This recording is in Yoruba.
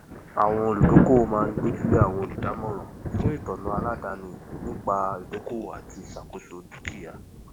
àwọn olùdókòwò máa ń gbójú lé àwọn olùdámọràn fún ìtọná aládàáni nípa ìdókòwò àti ìṣàkóso dukia